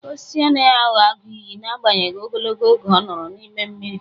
Osisi anaghị aghọ agụ iyi n'agbanyeghị ogologo oge ọ nọrọ n'ime mmiri.